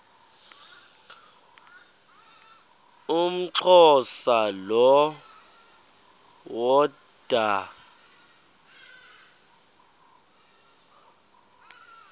umxhosa lo woda